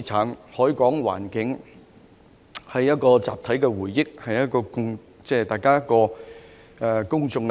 香港的海港環境是集體回憶，關乎公眾利益。